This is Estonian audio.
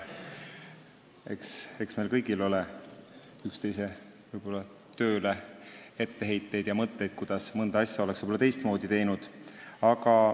Eks meil kõigil võib olla üksteise tööle etteheiteid ja mõtteid, kuidas ise oleks mõnda asja teistmoodi teinud.